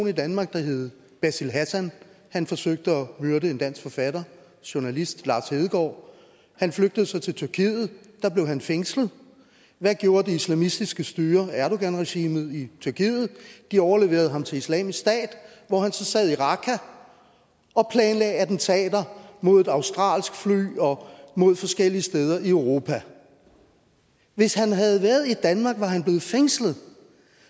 i danmark der hed basil hassan han forsøgte at myrde en dansk forfatter journalist lars hedegaard han flygtede så til tyrkiet der blev han fængslet hvad gjorde det islamistiske styre erdoganregimet i tyrkiet de overleverede ham til islamisk stat hvor han så sad i raqqa og planlagde attentater mod et australsk fly og mod forskellige steder i europa hvis han havde været i danmark var han blevet fængslet